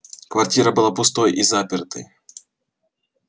квартира была пустой и запертой